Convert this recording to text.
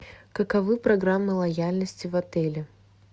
каковы программы лояльности в отеле